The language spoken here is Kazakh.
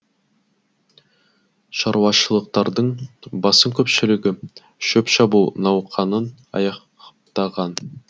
шаруашылықтардың басым көпшілігі шөп шабу науқанын аяқтаған